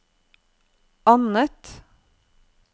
annet